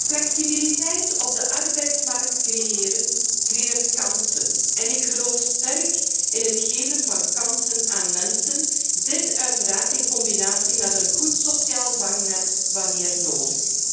Flexibiliteit op de arbeidsmarkt creëren schept kansen en ik geloof sterk in het geven van kansen aan mensen, dit uiteraard in combinatie met een goed sociaal vangnet wanneer nodig.